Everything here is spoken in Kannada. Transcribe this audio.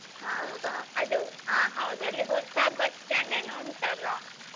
ಅದು ಆ ಹೌದು ಅಲ್ಲಿ ಹೊಸ bus stand ಏನೋ ಉಂಟಲ್ಲ.